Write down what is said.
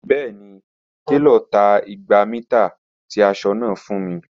Bẹẹni, telo ta igba mita ti aṣọ naa fun mi.